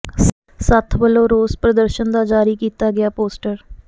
ਸੱਥ ਵਲੋਂ ਰੋਸ ਪ੍ਰਦਰਸ਼ਨ ਦਾ ਜਾਰੀ ਕੀਤਾ ਗਿਆ ਪੋਸਟਰ